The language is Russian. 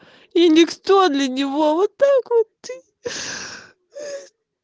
и никто для него вот так вот ии